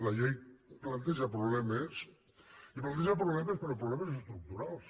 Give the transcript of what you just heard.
la llei planteja problemes i planteja problemes però problemes estructurals